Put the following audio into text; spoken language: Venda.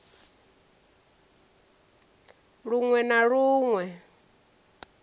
lun we na lun we